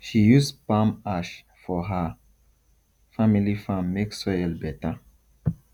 she use palm ash for her family farm make soil better